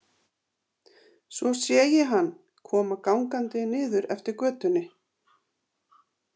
Svo sé ég hann koma gangandi niður eftir götunni.